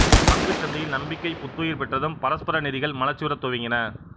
பங்குச் சந்தையில் நம்பிக்கை புத்துயிர் பெற்றதும் பரஸ்பர நிதிகள் மலர்ச்சியுறத் துவங்கின